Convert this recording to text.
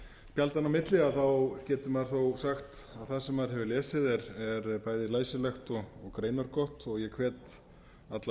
spjaldanna á milli getur maður þó sagt að það sem maður hefur lesið er bæði læsilegt og greinargott og ég hvet alla